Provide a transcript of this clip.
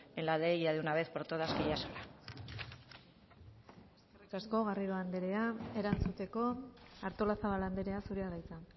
en la ley ya de una vez por todas que ya es hora eskerrik asko garrido andrea erantzuteko artolazabal andrea zurea da hitza